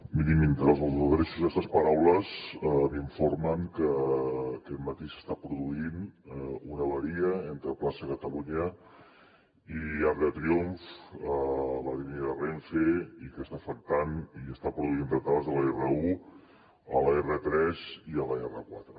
miri mentre els adreço aquestes paraules m’informen que aquest matí s’està produint una avaria entre plaça catalunya i arc de triomf a la línia de renfe i que està afectant i està produint retards a l’r1 a l’r3 i a l’r4